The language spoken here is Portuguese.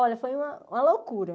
Olha, foi uma uma loucura.